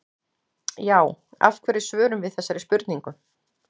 Já, af hverju svörum við þessari spurningu?